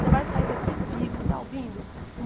Vocêê vai sair daqui vivo, você está ouvindo?